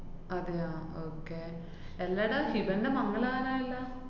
അതെയാ? okay എന്താടാ ഹിബേന്‍റെ മംഗലാകാറായല്ലാ?